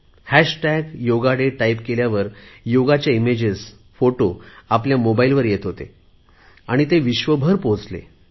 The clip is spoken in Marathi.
हॅशटॅग योगा डे टाईप केल्यावर योगाची इमेजेस फोटो आमच्या मोबाईलवर येत होती आणि विश्वभर ती पोहचली